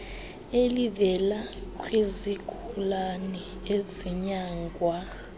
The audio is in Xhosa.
elivela kwizigulane ezinyangwa